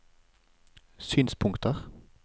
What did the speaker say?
synspunkter